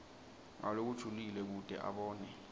ngalokujulile kute abone